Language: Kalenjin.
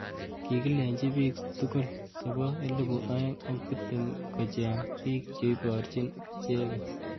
Kikilechi bik sukul chebo elibu aeng ak tiptem kocheng bik cheiborjin icheket.